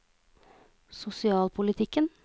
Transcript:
sosialpolitikken